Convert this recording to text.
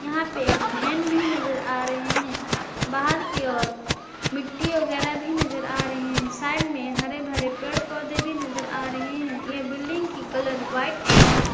यहां पे एक वैन भी नजर आ रहे हैं बाहर की ओर मिट्टी वगैरह भी नजर आ रहे हैं साइड में हरे भरे पेड़ पौधे भी नजर आ रहे हैं यह बिल्डिंग की कलर व्हाइट एवं--